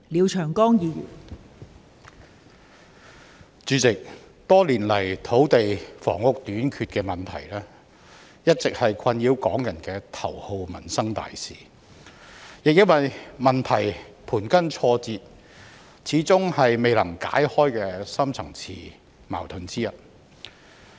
代理主席，多年來土地房屋短缺的問題，一直是困擾港人的頭號民生大事，亦因為問題盤根錯節，始終是未能解開的深層次矛盾之一。